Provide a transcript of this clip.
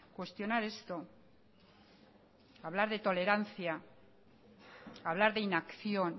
cuestionar esto hablar de tolerancia hablar de inacción